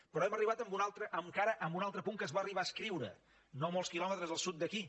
però hem arribat encara a un altre punt que es va arribar a escriure no molts quilòmetres al sud d’aquí